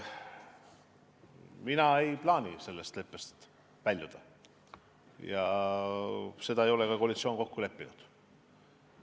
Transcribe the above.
Mina ei plaani sellest leppest väljuda ja seda ei ole ka koalitsioon kokku leppinud.